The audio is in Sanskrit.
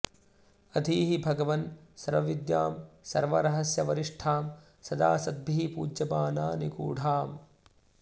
अधीहि भगवन् सर्वविद्यां सर्वरहस्यवरिष्ठां सदा सद्भिः पूज्यमाना निगूढाम्